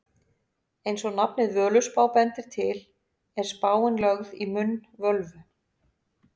Eins og nafnið Völuspá bendir til er spáin lögð í munn völvu.